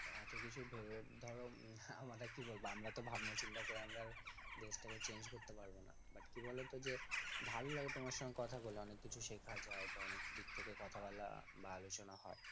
এতকিছু ভেবে ধর আমরা কি বলব আমরা তো ভাবনা চিন্তা করে আমরা দেশ টাকে change করতে পারবোনা but কি বলো তো যে ভালো লাগে তোমার সাথে কথা বলে অনেক কিছু শেখ যায় বা অনেক দিক থেকে কথা বলা বা আলোচনা হয়